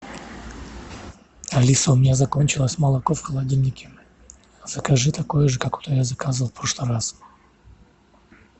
алиса у меня закончилось молоко в холодильнике закажи такое же какое я заказывал в прошлый раз